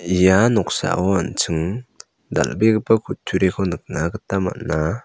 ia noksao an·ching dal·begipa kutturiko nikna gita man·a.